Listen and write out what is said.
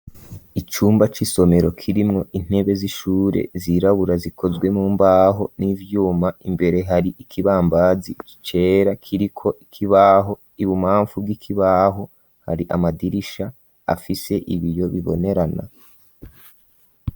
Icumba cy'isomero kirimwo intebe z'ishure zirabura zikozwe mu mbaho n'ibyuma imbere hari ikibambazi kicera kiriko ikibaho ibubaamvu bw'ikibaho hari amadirisha afise ibiyo bibonerana.